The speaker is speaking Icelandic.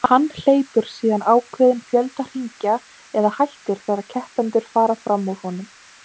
Hann hleypur síðan ákveðinn fjölda hringja eða hættir þegar keppendur fara fram úr honum.